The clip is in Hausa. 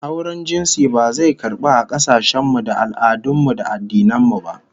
Auren jinsi ba zai karbu a kasashen mu da al'adun mu da addinan mu ba